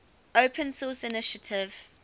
open source initiative